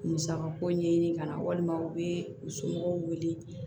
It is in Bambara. Musaka ko ɲɛɲini kana walima u bɛ u somɔgɔw wele